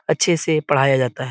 अच्छे से पढ़ाया जाता है।